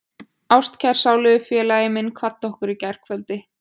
Ástkær sálufélagi minn kvaddi okkur í gærkvöldi.